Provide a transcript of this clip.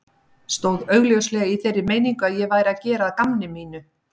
Stóð augljóslega í þeirri meiningu að ég væri að gera að gamni mínu.